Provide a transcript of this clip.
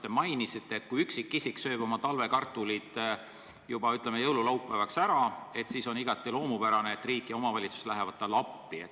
Te mainisite, et kui üksikisik sööb oma talvekartulid näiteks juba jõululaupäevaks ära, siis on igati loomulik, et riik ja omavalitsus lähevad talle appi.